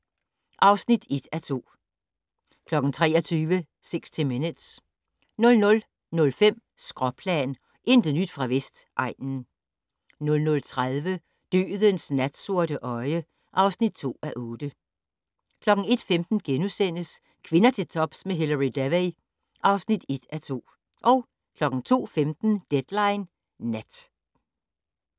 21:50: Med Gud mod Darwin (1:2) 23:00: 60 Minutes 00:05: Skråplan - intet nyt fra Vestegnen 00:30: Dødens natsorte øje (2:8) 01:15: Kvinder til tops med Hilary Devey (1:2)* 02:15: Deadline Nat